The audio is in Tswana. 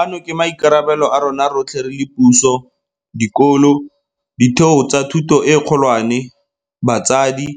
Ano ke maikarabelo a rona rotlhe re le puso, dikolo, ditheo tsa thuto e kgolwane, batsadi,